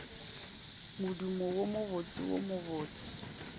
modumo wo mobotse wo mobose